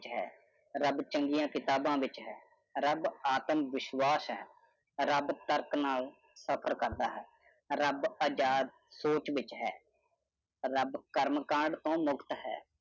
ਰੱਬ ਚੰਗੀਆਂ ਕਿਤਾਬਾਂ ਵਿੱਚ ਹੈ। ਰੱਬ ਆਤਮਵਿਸ਼ਵਾਸ ਹੈ। ਰੱਬ ਤਰਕ ਨਾਲ ਸਫਰ ਕਰਦਾ ਹੈ। ਰੱਬ ਆਜਾਦ ਸੋਚ ਵਿੱਚ ਹੈ । ਰੱਬ ਕਰਮਕਾਂਡ ਤੋਂ ਮੁਕਤ ਹੈ।